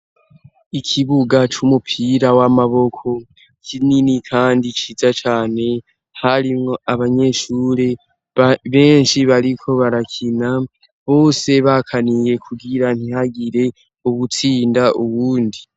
Ikibuga c'umupira w'amaboko kinini kandi ciza cane harimwo abanyeshuri benshi bariko barakina bose bakaniye kubwira ntihagire uwutsinda uwundi.